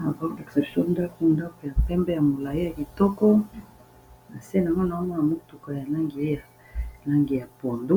Bazo lakisa biso ndaku pe ya pembe ya molai ya kitoko, nase nango nazomona motuka ya langi ya langi ya pondo